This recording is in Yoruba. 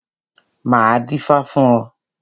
Máa dífá fún ọ.